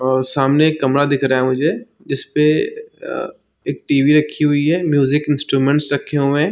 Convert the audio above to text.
और सामने एक कमरा दिख रहा है मुझे जिसपे अ एक टीवी रखी हुई है म्यूजिक इंस्टूमेंट्स रखे हुए है।